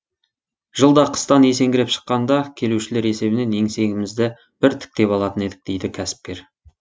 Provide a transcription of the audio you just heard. жылда қыстан есеңгіреп шыққанда келушілер есебінен еңсемізді бір тіктеп алатын едік дейді кәсіпкер